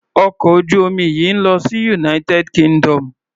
Ọkọ̀ ojú omi yìí ń lọ sí United Kingdom.